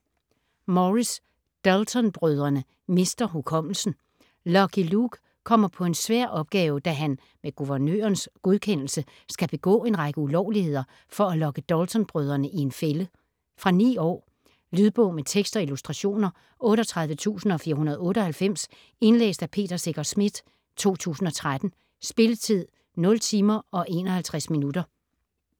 Morris: Dalton-brødrene mister hukommelsen Lucky Luke kommer på en svær opgave, da han - med guvernørens godkendelse - skal begå en række ulovligheder for at lokke Dalton-brødrene i en fælde. Fra 9 år. Lydbog med tekst og illustrationer 38498 Indlæst af Peter Secher Schmidt, 2013. Spilletid: 0 timer, 51 minutter.